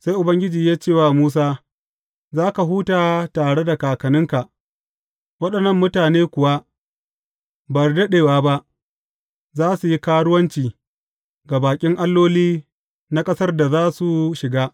Sai Ubangiji ya ce wa Musa, Za ka huta tare da kakanninka, waɗannan mutane kuwa ba da daɗewa ba za su yi karuwanci ga baƙin alloli na ƙasar da za su shiga.